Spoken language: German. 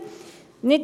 – Kein Einwand.